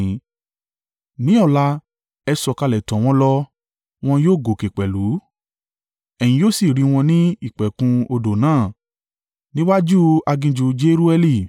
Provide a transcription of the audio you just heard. Ní ọ̀la, ẹ sọ̀kalẹ̀ tọ̀ wọ́n lọ, wọn yóò gòkè pẹ̀lú, ẹ̀yin yóò sì rí wọn ní ìpẹ̀kun odò náà, níwájú aginjù Jerueli.